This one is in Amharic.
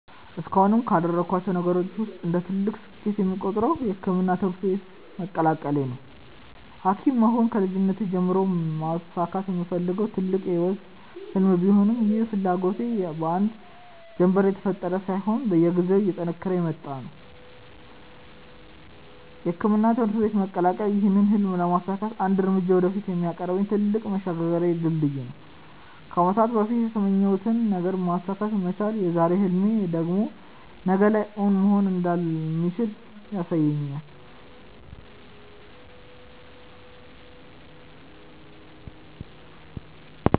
እስካሁንም ካደረኳቸው ነገሮች ውስጥ እንደ ትልቅ ስኬት የምቆጥረው የሕክምና ትምህርት ቤትን መቀላቀሌ ነው። ሀኪም መሆን ከልጅነቴ ጀምሮ ማሳካት የምፈልገው ትልቅ የህይወቴ ህልም ቢሆንም ይህ ፍላጎቴ በአንድ ጀንበር የተፈጠረ ሳይሆን በየጊዜው እየጠነከረ የመጣ ነው። የሕክምና ትምህርት ቤትን መቀላቀል ይህን ህልም ለማሳካት አንድ እርምጃ ወደፊት የሚያቀርበኝ ትልቅ መሸጋገሪያ ድልድይ ነው። ከአመታት በፊት የተመኘሁትን ነገር ማሳካት መቻል የዛሬ ህልሜ ደግሞ ነገ ላይ እውን መሆን እንደሚችል ያሳየኛል።